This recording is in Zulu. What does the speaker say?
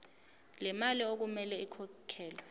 lemali okumele ikhokhelwe